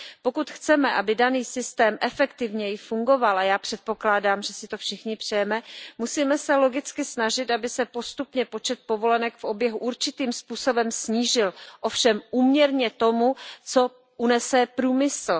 Pokud chceme, aby daný systém efektivněji fungoval, a já předpokládám, že si to všichni přejeme, musíme se logicky snažit, aby se postupně počet povolenek v oběhu určitým způsobem snížil, ovšem úměrně tomu, co unese průmysl.